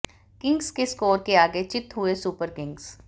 Kings के score के आगे चित हुए सुपर किंग्स